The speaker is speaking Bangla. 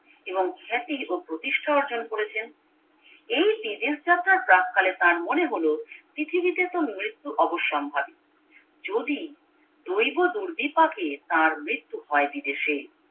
এবং খ্যাতি এবং প্রতিষ্ঠা অর্জন করেছেন এই বিদেশ যাত্র্রার প্রাক্কালে তার মনে হলো পৃথিবীতেতো মৃত্যু অবসম্ভাবী যদি দৈব দুর্বিপাকে তার তার মৃত্যু হয় বিদেশে